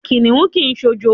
Kìnìún kì í s̩òjo.